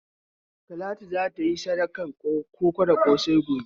Talatu za ta yi sadakan koko da ƙosai gobe.